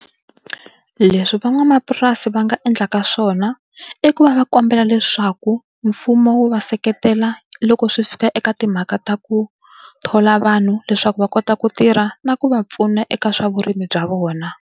Leswi van'wamapurasi va nga endlaka swona i ku va va kombela leswaku mfumo wu va seketela loko swi fika eka timhaka ta ku thola vanhu leswaku va kota ku tirha na ku va pfuna eka swa vurimi bya vona.